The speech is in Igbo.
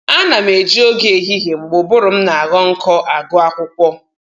Ana m eji oge ehihie mgbe ụbụrụ m na-aghọ nkọ agụ akwụkwọ